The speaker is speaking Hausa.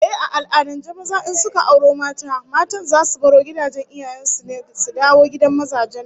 Ehh, a al'adance maza in suka auro mata, matan zasu baro gidajen iyayen su su dawo gidan mazajen nasu